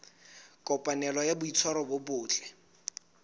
kopanelo ya boitshwaro bo botle